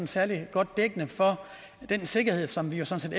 særlig godt dækkende for den sikkerhed som vi jo sådan